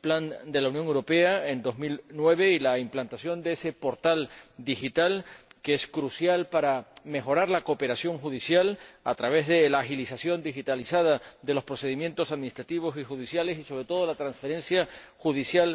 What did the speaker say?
Plan de Acción en 2009 y la implantación de ese portal digital, que es crucial para mejorar la cooperación judicial, a través de la agilización digitalizada de los procedimientos administrativos y judiciales y, sobre todo, la transferencia judicial